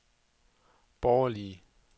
borgerlige